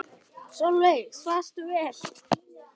Sólveig: Svafstu vel?